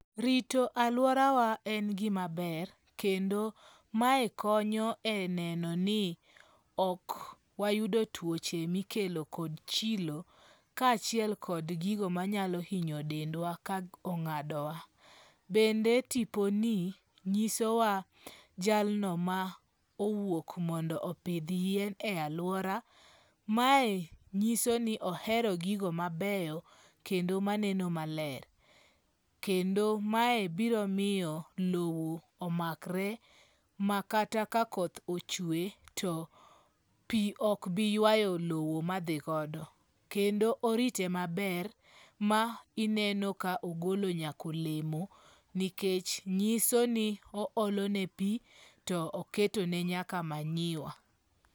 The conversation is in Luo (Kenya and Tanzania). Rito alworawa en gima ber, kendo mae konyo e neno ni ok wayudo tuoche mikelo kod chilo kaachiel kod gigo manyalo hinyo dendwa ka ong'adowa. Bende tiponi nyisowa jalno ma owuok mondo opidh yien e alwora. Mae nyisoni ohero gigo mabeyo, kendo maneno maler, kendo mae biro miyo lowo omakre ma kata ka koth ochwe to pi ok bi ywayo lowo ma dhio godo. Kendo oriti maber ma ineno ka ogolo nyaka olemo nikech nyiso ni oolone pi to oketone nyaka manyiwa.